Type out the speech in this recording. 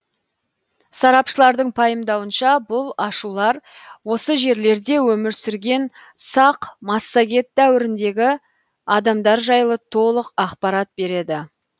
сарапшылардың пайымдауынша бұл ашулар осы жерлерде өмір сүрген сақ массагет дәуіріндегі адамдар жайлы толық ақпарат береді